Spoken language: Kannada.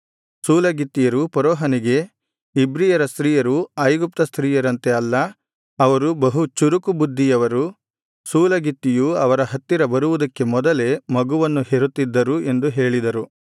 ಸೂಲಗಿತ್ತಿಯರು ಫರೋಹನಿಗೆ ಇಬ್ರಿಯರ ಸ್ತ್ರೀಯರು ಐಗುಪ್ತ ಸ್ತ್ರೀಯರಂತೆ ಅಲ್ಲ ಅವರು ಬಹು ಚುರುಕು ಬುದ್ಧಿಯವರು ಸೂಲಗಿತ್ತಿಯು ಅವರ ಹತ್ತಿರ ಬರುವುದಕ್ಕೆ ಮೊದಲೇ ಮಗುವನ್ನು ಹೆರುತ್ತಿದ್ದರು ಎಂದು ಹೇಳಿದರು